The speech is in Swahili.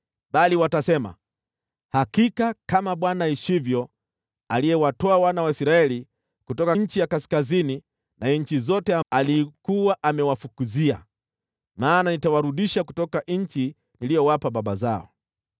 bali watasema, ‘Hakika kama Bwana aishivyo, aliyewatoa wana wa Israeli kutoka nchi ya kaskazini na nchi zote alizokuwa amewafukuzia.’ Maana nitawarudisha katika nchi niliyowapa baba zao.